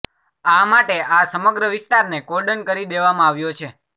આ માટે આ સમગ્ર વિસ્તારને કોર્ડન કરી દેવામાં આવ્યો છે